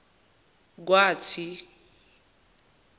kwathi